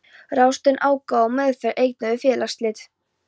Ráðstöfun ágóða og meðferð eigna við félagsslit.